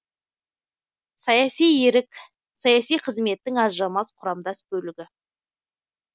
саяси ерік саяси қызметтің ажырамас құрамдас бөлігі